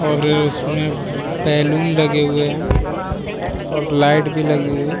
और उसमें बैलून लगे हुए हैं और लाइट भी लगी हुई है।